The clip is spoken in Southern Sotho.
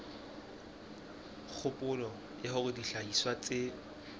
kgopolo ya hore dihlahiswa tse